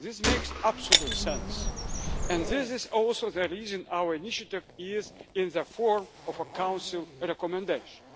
This makes absolute sense and this is also the reason our initiative is in the form of a Council recommendation.